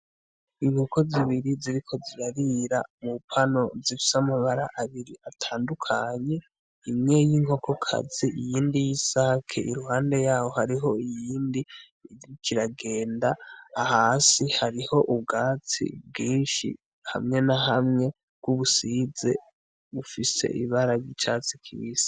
Inkoko zibiri ziriko zirabira mupano zifyamabara abiri atandukanye imwe y'inkokokazi iyindi y'isake iruhande yaho hariho iyindi igikiragenda ahasi hariho ubwatsi bwinshi hamwe na hamwe bw'ubusize ufise ibaraja icatsi kibisi.